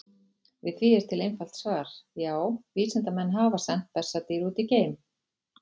Við því er til einfalt svar: Já, vísindamenn hafa sent bessadýr út í geim!